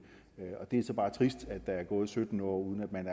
det er så bare trist at der er gået sytten år uden at man